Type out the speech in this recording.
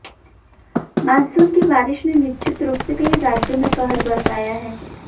monsoon की बारिश ने निश्चित रूप से कई राज्यों में कहर बरपाया है